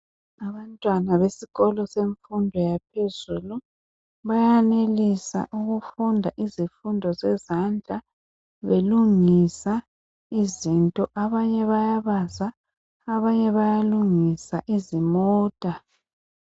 Abantwana besikolo semfundo yaphezulu banelisa ukufunda izifundo zezandla belungisa izinto, abanye bayabaza abanye bayalungisa izimota.